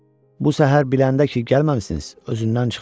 Bu səhər biləndə ki, gəlməmisiniz, özündən çıxdı.